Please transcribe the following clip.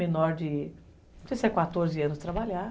Menor de, não sei se é quatorze anos, trabalhar.